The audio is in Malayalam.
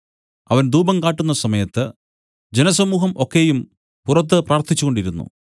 അവൻ ധൂപം കാട്ടുന്ന സമയത്ത് ജനസമൂഹം ഒക്കെയും പുറത്തു പ്രാർത്ഥിച്ചുകൊണ്ടിരുന്നു